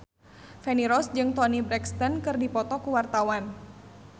Feni Rose jeung Toni Brexton keur dipoto ku wartawan